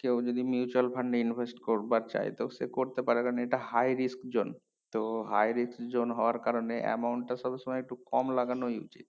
কেও যদি mutual fund এ invest করবার চাই তো সে করতে পারে কারণ এটা high resk zone তো high resk zone হওয়ার কারণে amount টা সবসময় একটু কম লাগানোই উচিত